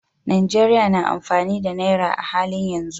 Najeriya na amfani da Naira a halin yanzu.